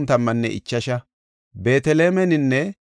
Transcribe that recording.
Nam7antho Elama yarati 1,254;